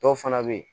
Dɔw fana bɛ yen